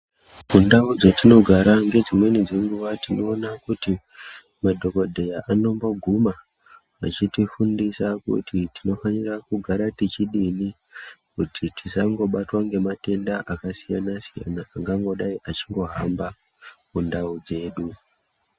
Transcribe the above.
Kundau dzatinogara ngedzimweni dzenguwa tinoona kuti madhokodheya anomboguma, achitifundisa kuti tinofanira kugara tichidini, kuti tisangobatwa ngematenda akasiyana-siyana, angangodai achingohamba kundau dzedu.